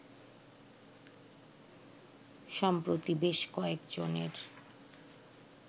সম্প্রতি বেশ কয়েকজনের